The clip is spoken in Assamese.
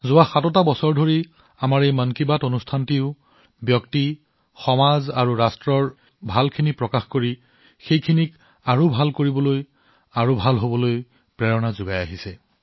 যোৱা সাত বছৰ ধৰি আমাৰ মন কী বাতে ব্যক্তি সমাজ দেশৰ ভাল কৰিবলৈ আৰু ভাল হবলৈ অনুপ্ৰাণিত কৰিছে